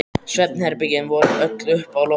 Svefnherbergin voru öll uppi á lofti.